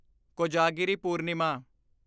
Kojagiri Purnima